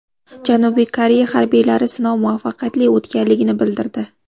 Janubiy Koreya harbiylari sinov muvaffaqiyatli o‘tganligini bildirdi.